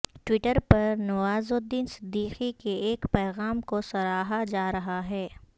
Twitter پر نوازالدین صدیقی کے ایک پیغام کو سراہا جا رہا ہے